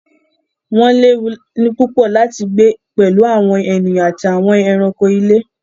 Wọ́n léwu púpọ̀ láti gbé pẹ̀lú àwọn ènìyàn àti àwọn ẹranko ilé.